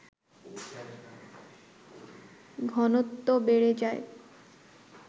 ঘনত্ব বেড়ে যায়